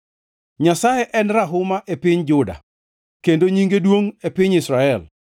Nyasaye en rahuma e piny Juda, kendo nyinge duongʼ e piny Israel.